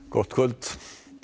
gott kvöld